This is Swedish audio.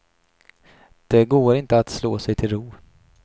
Det går inte att slå sig till ro.